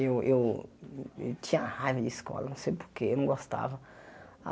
Eu eu tinha raiva de escola, não sei por quê, eu não gostava.